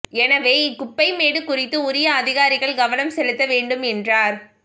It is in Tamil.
எனவே இக் குப்பைமேடு குறித்து உரிய அதிகாரிகள் கவனம் செலுத்த வேண்டும் என்றார்